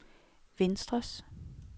venstres